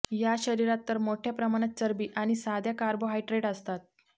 या शरीरात तर मोठ्या प्रमाणात चरबी आणि साध्या कार्बोहायड्रेट असतात